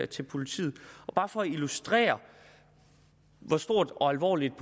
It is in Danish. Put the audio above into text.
til politiet bare for at illustrere hvor stort og alvorligt